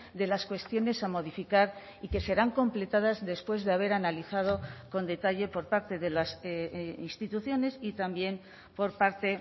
de las cuestiones a modificar y que serán completadas después de haber analizado con detalle por parte de las instituciones y también por parte